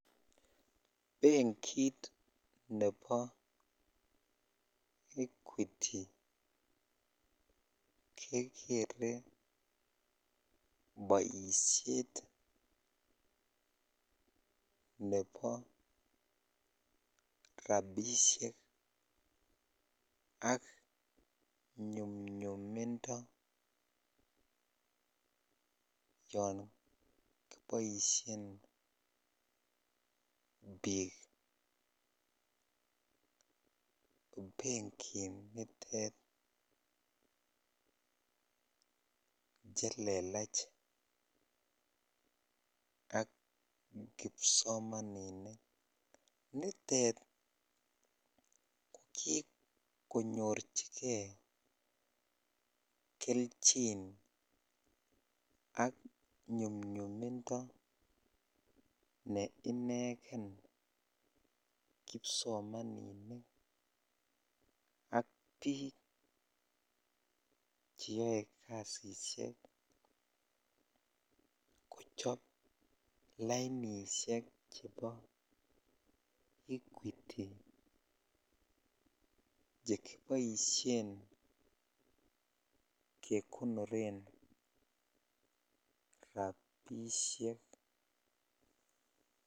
Benkit nebo equity kekere boishet nebo rabishek ak nyumnyumindo yoon kiboishen biik benki nitet chelelach ak kipsomaninik, nitet ko kikonyorchike kelchin ak nyumnyumindo ne ineken kipsomaninik ak biik sheyoe kasisiek kochop lainishek chebo equity chekiboishen kekonoren rabishek.